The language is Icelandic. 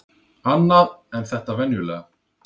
Annað en þetta venjulega.